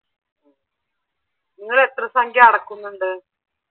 നിങ്ങൾ എത്ര സംഖ്യ അടക്കുന്നുണ്ട്?